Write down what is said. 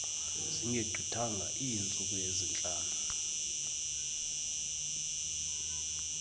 zingegqithanga iintsuku ezintlanu